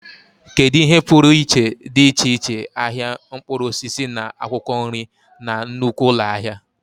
Kedu ihe pụrụ iche dị iche iche ahịa mkpụrụ osisi na akwụkwọ nri na nnukwu ụlọ ahịa?